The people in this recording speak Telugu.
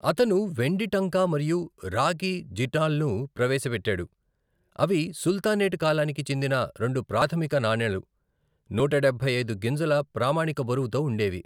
అతను వెండి టంకా మరియు రాగి జిటాల్ను ప్రవేశపెట్టాడు. అవి సుల్తనేట్ కాలానికి చెందిన రెండు ప్రాథమిక నాణేలు, నూట డబ్బై ఐదు గింజల ప్రామాణిక బరువుతో ఉండేవి.